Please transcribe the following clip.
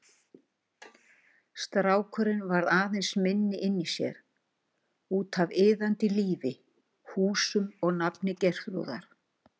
Strákurinn varð aðeins minni inni í sér, útaf iðandi lífi, húsum og nafni Geirþrúðar.